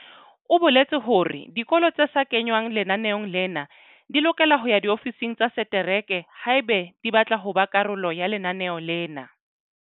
O boletse hore dikolo tse sa kengwang lenaneong lena di lokela ho ya diofising tsa setereke haeba di batla ho ba karolo ya lenaneo lena.